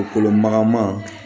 O kolo magama